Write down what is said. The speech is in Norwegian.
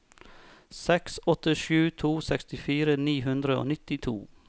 seks åtte sju to sekstifire ni hundre og nittito